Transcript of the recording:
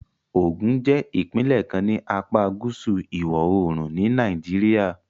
Ogun jẹ́ ìpínlẹ̀ kan ní apá gúúsù ìwọ̀-oòrùn ni Nàìjíríà